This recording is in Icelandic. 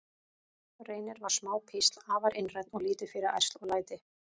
Reynir var smá písl, afar einrænn og lítið fyrir ærsl og læti.